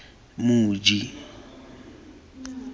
moji